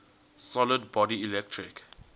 solid body electric